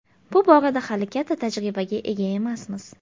Bu borada hali katta tajribaga ega emasmiz.